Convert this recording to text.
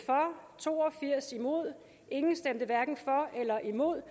to og firs hverken for eller imod